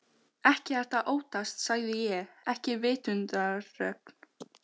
Ekkert að óttast sagði ég, ekki vitundarögn